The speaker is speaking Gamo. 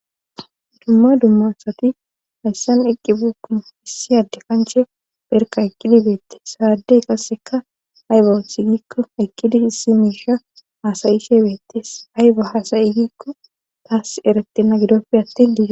dumma dumma sati hayssan eqqi buukuu issi adde kanche perka eqqidi beette saadey qasseka aybo thigikko eqqidi hissi miisha haasayi she beettes ayba hasayigikko taas eretena gidoppe attin diie